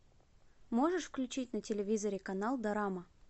можешь включить на телевизоре канал дорама